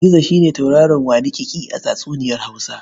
Gizo shi ne tauraro waniƙiƙi a tatsuniyar Hausa.